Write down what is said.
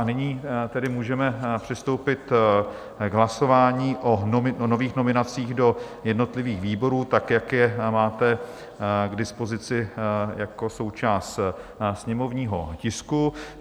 A nyní tedy můžeme přistoupit k hlasování o nových nominacích do jednotlivých výborů, tak jak je máte k dispozici jako součást sněmovního tisku.